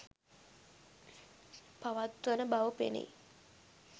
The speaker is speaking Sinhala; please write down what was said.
පවත්වන බව පෙනෙයි